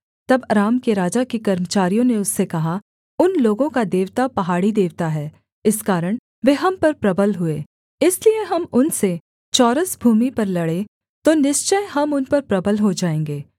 तब अराम के राजा के कर्मचारियों ने उससे कहा उन लोगों का देवता पहाड़ी देवता है इस कारण वे हम पर प्रबल हुए इसलिए हम उनसे चौरस भूमि पर लड़ें तो निश्चय हम उन पर प्रबल हो जाएँगे